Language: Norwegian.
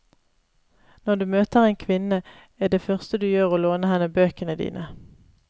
Når du møter en kvinne, er det første du gjør å låne henne bøkene dine.